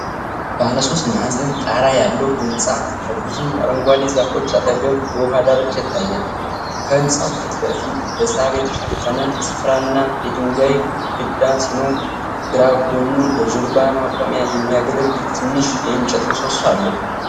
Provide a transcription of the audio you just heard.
ባለ ሶስት ማዕዘን ጣራ ያለው ህንፃ ከብዙ አረንጓዴ ዛፎች አጠገብ በውሃ ዳርቻ ይታያል። ከህንጻው ፊት ለፊት በሳር የተሸፈነ ስፍራ እና የድንጋይ ግድግዳ ሲኖር፤ ግራ ጎኑ ለጀልባ ማቆሚያ የሚያገለግል ትንሽ የእንጨት ምሰሶ አለው።